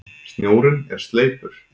Snjórinn er sleipur!